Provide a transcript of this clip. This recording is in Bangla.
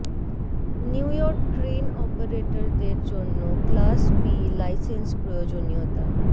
নিউ ইয়র্ক ক্রেন অপারেটরদের জন্য ক্লাস বি লাইসেন্স প্রয়োজনীয়তা